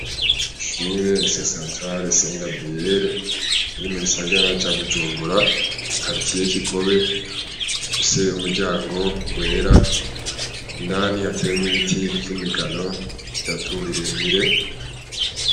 Ishure se santare sen gabriyere iri mu gisagara ca bujumbura kartiye kigobe ifise umuryango wera indani hatemwa ibiti vy'imigano bitatu birebire.